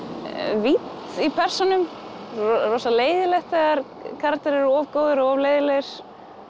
vídd í persónum rosa leiðinlegt þegar karakterar eru of góðir eða of leiðinlegir